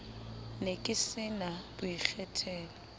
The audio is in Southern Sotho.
ne ke se na boikgethelo